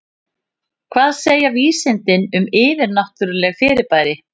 Hvað segja vísindin um yfirnáttúrleg fyrirbæri?